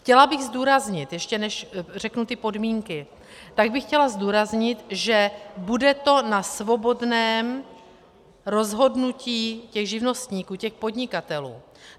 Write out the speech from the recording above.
Chtěla bych zdůraznit - ještě než řeknu ty podmínky, tak bych chtěla zdůraznit, že to bude na svobodném rozhodnutí těch živnostníků, těch podnikatelů.